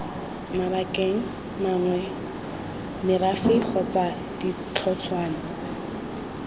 mabakeng mangwe merafe kgotsa ditlhotshwana